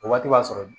O waati b'a sɔrɔ